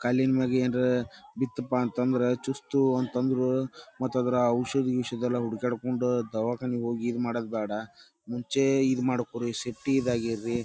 ಕಾಲಿನ್ಮ್ಯಾಗ ಏನ್ರ ಬಿತ್ಪಾಂತಂದ್ರ ಚುಚ್ತು ಅಂತಂದ್ರೂ ಮತ್ತದರ ಔಷದ ಗೀಷದೆಲ್ಲ ಹುಡ್ಯಕ್ಯಾಡ್ಕೋಂಡು ದವಾಖಾನಿಗ್ ಹೋಗಿ ಇದ್ ಮಾಡೂದ್ ಬ್ಯಾಡ ಮುಂಚೇ ಇದ್ ಮಡ್ಕೋರಿ ಸೇಫ್ಟೀದಾಗ್ ಇರ್ರಿ.